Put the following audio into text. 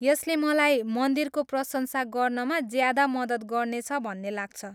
यसले मलाई मन्दिरको प्रशंसा गर्नमा ज्यादा मद्दत गर्नेछ भन्ने लाग्छ।